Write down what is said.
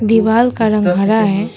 दीवाल का रंग हरा है।